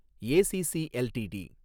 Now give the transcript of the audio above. ACC LTD